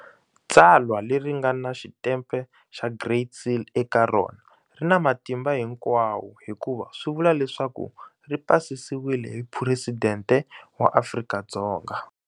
Tsalwa leri nga na xitempe xa Great Seal eka rona ri na matimba hinkwawo hikuva swivula leswaku ri pasisiwile hi Phuresidente wa Afrika-Dzonga.